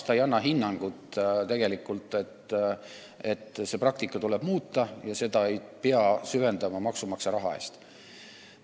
Ta ei anna tegelikult hinnangut, et seda praktikat tuleks muuta ja seda ei peaks süvendama maksumaksja raha eest.